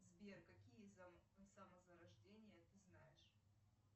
сбер какие самозарождения ты знаешь